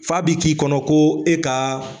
F'a bi k'i kɔnɔ koo e kaa